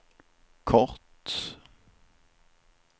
kort